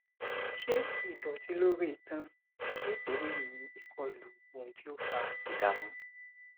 ṣé ìdọtí lórí itan nítorí ìkọlù ohun tí ó fa ìdààmú